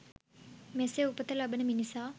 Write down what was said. මෙසේ උපත ලබන මිනිසා